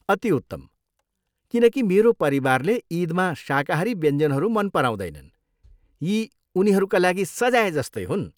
अति उत्तम, किनकि मेरो परिवारले इदमा शाकाहारी व्यञ्जनहरू मन पराउँदैनन्, यी उनीहरूका लागि सजाय जस्तै हुन्।